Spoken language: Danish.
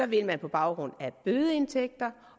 vil man på baggrund af bødeindtægter